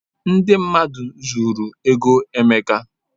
Ndị mmadụ zuru ego Emeka.